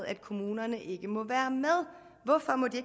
at kommunerne ikke må være med hvorfor må de